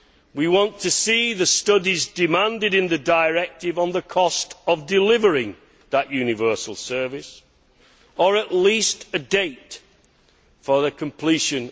We want to see the studies demanded in the directive on the cost of delivering that universal service or at least a date for their completion.